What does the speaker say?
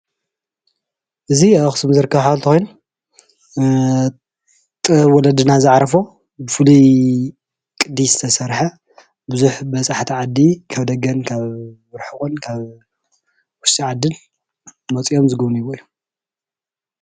እዚ ኣብ ኣክሱም ዝርከብ ሓወልቲ ኮይኑ ጥበብ ወለድና ዝዓረፎ ብፍሉይ ቅዲ ዝተሰርሐ ብዙሕ በፃሕቲ ዓዲ ካብ ደገ፣ ካብ ርሑቅን ካብ ውሽጢ ዓድን መፅኦም ዝግብንዩሉ እዩ፡፡